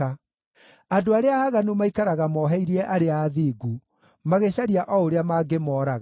Andũ arĩa aaganu maikaraga moheirie arĩa athingu, magĩcaria o ũrĩa mangĩmooraga;